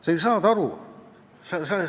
Sa ju saad aru!